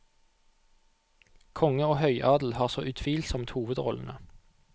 Konge og høyadel har så utvilsomt hovedrollene.